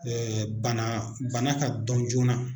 bana bana ka dɔn joona